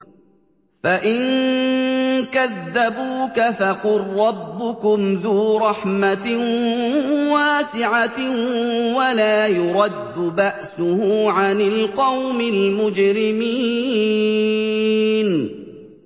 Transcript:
فَإِن كَذَّبُوكَ فَقُل رَّبُّكُمْ ذُو رَحْمَةٍ وَاسِعَةٍ وَلَا يُرَدُّ بَأْسُهُ عَنِ الْقَوْمِ الْمُجْرِمِينَ